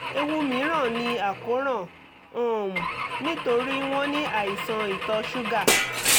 ewu mìíràn ni àkóràn um nítorí wọ́n ní àìsàn ìtọ̀ ṣúgà